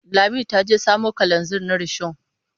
Lami ta je samo kalanzir na rishon.